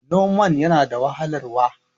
noman yana da wahalarwa